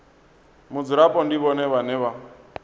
mudzulapo ndi vhone vhane vha